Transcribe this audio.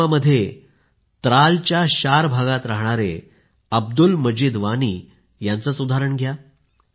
पुलवामामध्ये त्रालच्या शार भागात राहणारे अब्दुल मजीद वानी यांचंच उदाहरण घ्या